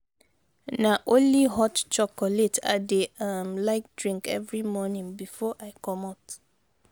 na only hot chocolate i dey um like drink every morning before i comot.